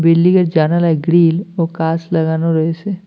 Building -এর জানালায় grill ও কাস লাগানো রয়েসে।